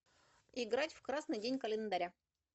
играть в красный день календаря